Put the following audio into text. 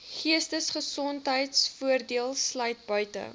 geestesgesondheidvoordeel sluit buite